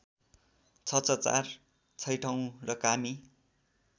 ६६४ छैठौँ र कामी